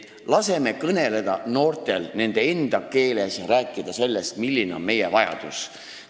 Laseme noortel kõneleda nende enda keeles ja rääkida sellest, milline on meie vajadus.